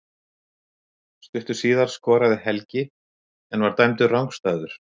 Stuttu síðar skoraði Helgi en var dæmdur rangstæður.